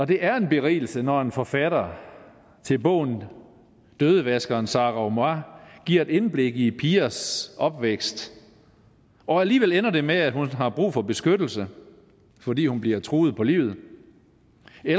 det er en berigelse når forfatteren til bogen dødevaskeren sara omar giver et indblik i de pigers opvækst og alligevel ender det med at hun har brug for beskyttelse fordi hun bliver truet på livet